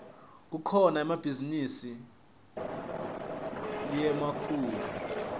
kukhona nemabhizinisi lamakhulu